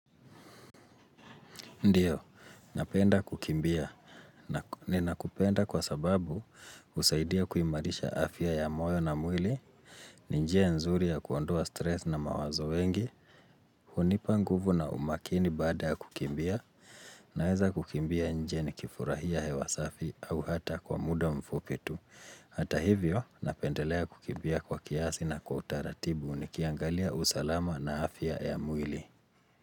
Ndiyo, napenda kukimbia. Ni nakupenda kwa sababu husaidia kuimarisha afya ya moyo na mwili, ni njia nzuri ya kuondua stress na mawazo wengi, hunipa nguvu na umakini baada kukimbia, naweza kukimbia nje ni kifurahia hewasafi au hata kwa muda mfupi tu. Hata hivyo, napendelea kukimbia kwa kiasi na kwa utaratibu ni kiangalia usalama na afya ya mwili.